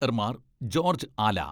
ർമ്മാർ George Ala